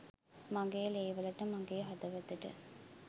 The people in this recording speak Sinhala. මගේ ලේවලට මගේ හදවතට